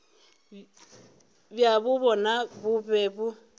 bjabo bjona bo be bo